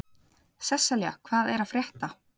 Sesselja, hvað er að frétta?